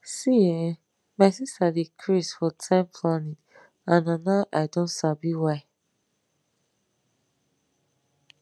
see[um]my sister dey craze for time planning and na now i don sabi why